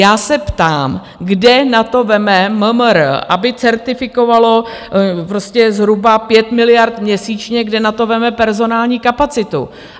Já se ptám, kde na to vezme MMR, aby certifikovalo zhruba 5 miliard měsíčně, kde na to vezme personální kapacitu.